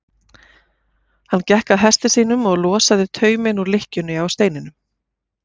Hann gekk að hesti sínum og losaði tauminn úr lykkjunni á steininum.